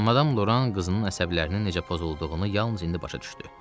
Madam Loran qızının əsəblərinin necə pozulduğunu yalnız indi başa düşdü.